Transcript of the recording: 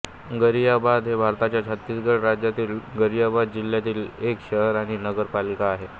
गरियाबंद हे भारताच्या छत्तीसगड राज्यातील गरियाबंद जिल्ह्यातील एक शहर आणि नगर पालिका आहे